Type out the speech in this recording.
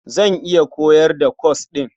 Zan iya koyar da kwas ɗin.